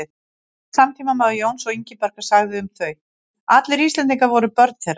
Einn samtímamaður Jóns og Ingibjargar sagði um þau: Allir Íslendingar voru börn þeirra